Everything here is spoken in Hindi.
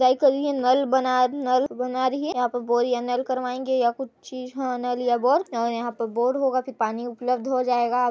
ट्राई करिये नल बनात है नल बना रही है यहाँ पर बोर या नल करवाएंगे या कुछ चीज ह नल या बोर और यहाँ पर बोर होगा फिर पानी उपलब्ध हो जायेगा --